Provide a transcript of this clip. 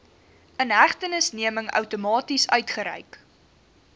inhegtenisneming outomaties uitgereik